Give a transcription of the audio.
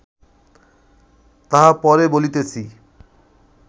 তাহা পরে বলিতেছি